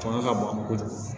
Fanga ka bon an bolo kojugu